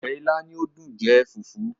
Ọbẹ̀ ìlà ni ó dùn jẹ fùfú